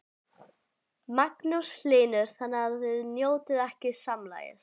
Magnús Hlynur: Þannig að þið njótið ekki sannmælis?